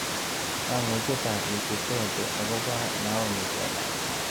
Ng'ang'utietap wikipedia agoboo naomi chelangat